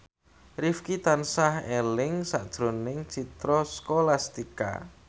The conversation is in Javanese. Rifqi tansah eling sakjroning Citra Scholastika